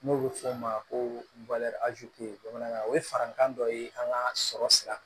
N'o bɛ fɔ o ma ko bamanankan o ye farankan dɔ ye an ka sɔrɔ sira